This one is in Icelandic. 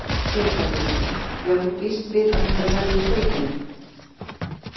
Sighvatur: Já þú bíst við að þetta verði í skaupinu?